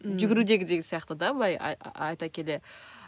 ммм жүгірудегідей сияқты да былай айта келе